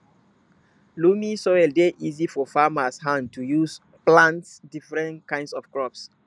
loamy soil dey easy for farmers hand to use plant different kind of crops